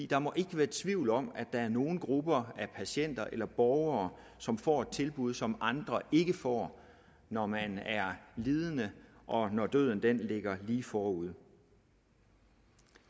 der må ikke være tvivl om at der er nogle grupper af patienter eller borgere som får tilbud som andre ikke får når man er lidende og når døden ligger lige forude